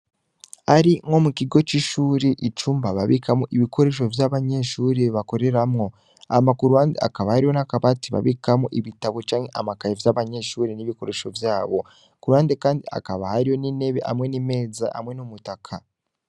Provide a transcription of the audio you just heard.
Ari nko mukigo cishure icumba babikamwo ibikoresho vyabanyeshure bakoreramwo hama kuruhande hakaba hari n'akabati babikamwo ibitabu canke amakaye vyabanyeshure n'ibikoresho vyabo kuruhande kandi hakaba hariho n'intebe, hamwe n'imeza, hamwe n'umutaka.